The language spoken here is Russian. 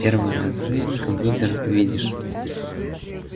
первый раз в жизни компьютер видишь